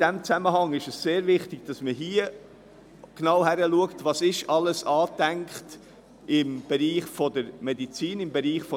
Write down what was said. In diesem Zusammenhang ist es sehr wichtig, dass man genau anschaut, was alles im Bereich der Medizin und der Insel angedacht ist.